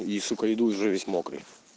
и сука иду уже весь мокрый